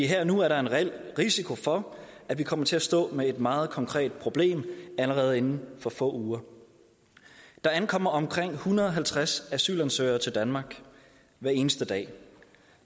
her og nu er der en reel risiko for at vi kommer til at stå med et meget konkret problem allerede inden for få uger der ankommer omkring en hundrede og halvtreds asylansøgere til danmark hver eneste dag og